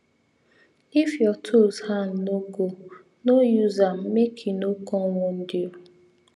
if your tools hand no go no use am make e no come wound you